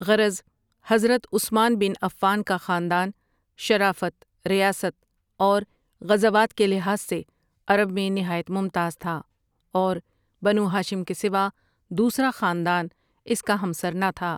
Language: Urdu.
غرض حضرت عثمان بن عفان ؓ کا خاندان شرافت، ریاست اور غزوات کے لحاظ سے عرب میں نہایت ممتاز تھا اور بنو ہاشم کے سوا دوسرا خاندان اس کا ہمسر نہ تھا۔